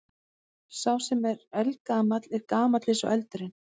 Sá sem er eldgamall er gamall eins og eldurinn.